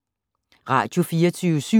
Radio24syv